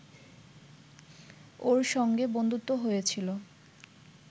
ওঁর সঙ্গে বন্ধুত্ব হয়েছিল